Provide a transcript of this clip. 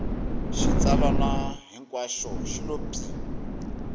xitsalwana hinkwaxo xi lo pyi